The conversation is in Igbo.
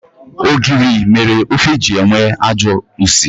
Ogiri mere ofe ji enwe ajọ usi.